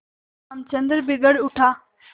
रामचंद्र बिगड़ उठा